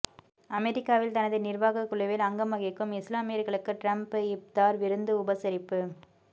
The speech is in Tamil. அமெரிக்காவில் தனது நிர்வாகக் குழுவில் அங்கம் வகிக்கும் இஸ்லாமியர்களுக்கு ட்ரம்ப் இப்தார் விருந்து உபசரிப்பு